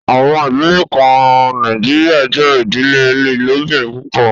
Àwọn idílẹ̀ kàn Nàìjíríà jẹ idílẹ̀ ilòbìrín púpọ̀